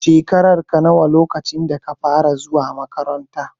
Shekararka nawa lokacin da ka fara zuwa maƙabarta?